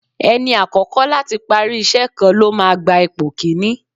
Ẹni àkọ́kọ́ láti parí ìṣe kan ló máa gba ipò kini.